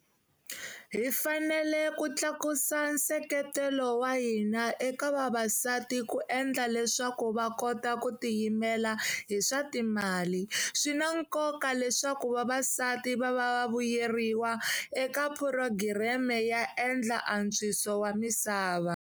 Hi fanele ku tlakusa nseketelo wa hina eka vavasati ku endla leswaku va kota ku ti yimela hi swa timali. Swi na nkoka leswaku vavasati va va va vuyeriwa eka phurogireme ya endla antswiso wa misava.